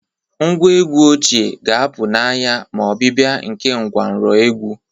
Ngwa egwu ochie ga-apụ n'anya ma ọbịbịa nke ngwanro egwu